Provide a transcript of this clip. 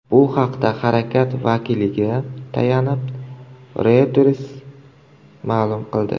Bu haqda harakat vakiliga tayanib, Reuters ma’lum qildi .